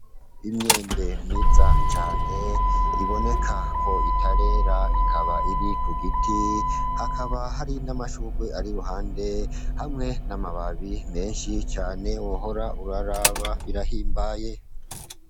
Imyembe myiza cane iboneka ko itarera ikaba iri ku giti hakaba hari n'amashurwe ari kuruhande hamwe n'amababi meshi cane wohora uraraba birahimbaye.